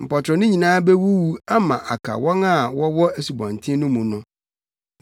Mpɔtorɔ no nyinaa bewuwu ama aka wɔn a wɔwɔ asubɔnten no mu no.”